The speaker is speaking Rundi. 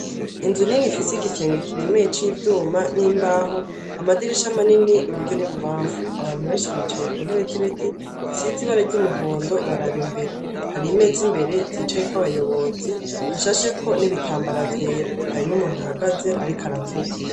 Inzu nini ifise igisenge kiremeye c'ivyuma n'imbaho, amadirisha manini iburyo n'ibubamfu. Abantu benshi bicaye kuntebe z'ibiti zisize ibara ry'umuhondo baraba imbere. Har'imeza imbere zicayeko abayobozi hashasheko ibitambara vyera. Hari n'umuntu ahagaze ariko aravuga.